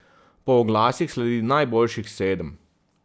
Po oglasih sledi najboljših sedem.